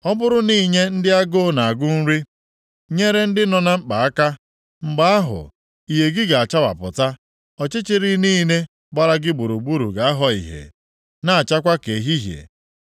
ọ bụrụ na inye ndị agụụ na-agụ nri, nyere ndị nọ na mkpa aka, mgbe ahụ, ìhè gị ga-achawapụta, ọchịchịrị niile gbara gị gburugburu ga-aghọ ìhè, na-achakwa ka ehihie.